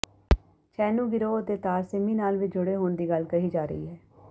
ਛੈਨੂੰ ਗਿਰੋਹ ਦੇ ਤਾਰ ਸਿਮੀ ਨਾਲ ਵੀ ਜੁੜੇ ਹੋਣ ਦੀ ਗੱਲ ਕਹੀ ਜਾ ਰਹੀ ਹੈ